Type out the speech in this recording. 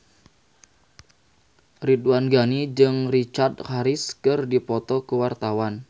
Ridwan Ghani jeung Richard Harris keur dipoto ku wartawan